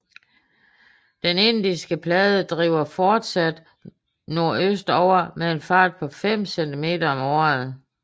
Den indiske plade driver fortsat nordøstover med en fart på 5 cm om året